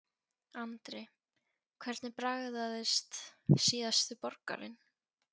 Andri: Hvernig bragðaðist síðasti borgarinn?